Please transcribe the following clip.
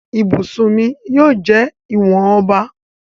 ibusùn mí yíò jẹ ìwọn ọba.